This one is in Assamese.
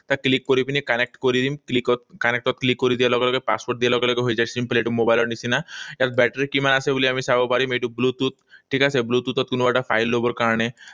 ইয়াত click কৰি পিনে connect কৰি দিম। Click ত, connect ত click কৰি দিয়া লগে লগে, password দিয়া লগে লগে হৈ যায়। Simple, এইটো মোবাইলৰ নিচিনা। ইয়াত বেটাৰী কিমান আছে বুলি আমি চাব পাৰিম। এইটো bluetooth, ঠিক আছে? Bluetooth ত কোনোবা এটা file লবৰ কাৰণে